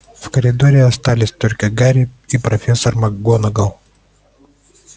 в коридоре остались только гарри и профессор макгонагалл